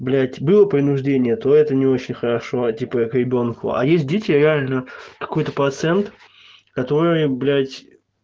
блять было принуждение то это не очень хорошо типа к ребёнку а есть дети реально какой-то процент который блять